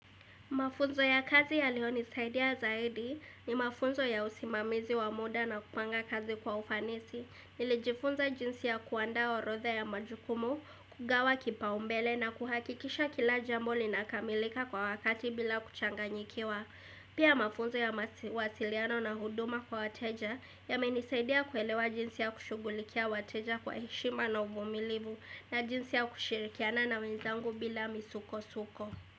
Mafunzo ya kazi yalionisaidia zaidi ni mafunzo ya usimamizi wa muda na kupanga kazi kwa ufanisi. Nilijifunza jinsi ya kuandaa orodha ya majukumu, kugawa kipaumbele na kuhakikisha kila jambo linakamilika kwa wakati bila kuchanganyikiwa. Pia mafunzo ya mawasiliano na huduma kwa wateja yamenisaidia kuelewa jinsi ya kushugulikia wateja kwa heshima na uvumilivu na jinsi ya kushirikiana na wenzangu bila misukosuko.